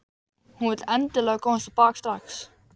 Hún vill endilega komast á bak strax.